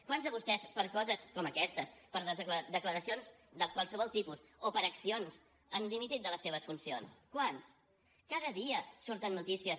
quants de vostès per coses com aquestes per les declaracions de qualsevol tipus o per accions han dimitit de les seves funcions quants cada dia surten notícies